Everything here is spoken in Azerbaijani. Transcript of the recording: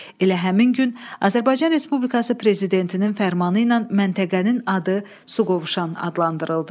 Elə həmin gün Azərbaycan Respublikası Prezidentinin fərmanı ilə məntəqənin adı Suqovuşan adlandırıldı.